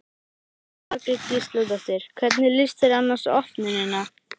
Jóhanna Margrét Gísladóttir: Hvernig líst þér annars á opnunina?